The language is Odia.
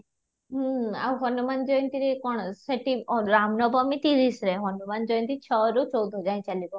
ହୁଁ ଆଉ ହନୁମାନ ଜୟନ୍ତୀରେ କ'ଣ ସେଠି ରାମ ନବମୀ ତିରିଶରେ ହନୁମାନ ଜୟନ୍ତୀ ଛଅ ରୁ ଚଉଦ ଯାଏଁ ଚାଲିବ